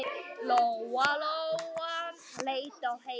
Lóa-Lóa leit á Heiðu.